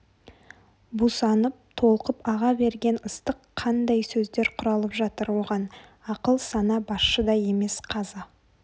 бусанып толқып аға берген ыстық қандай сөздер құралып жатыр оған ақыл сана басшы да емес қазы